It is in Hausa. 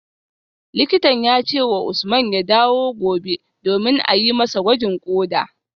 Likitan ya ce wa Usman ya dawo gobe domin a yi masa gwajin koda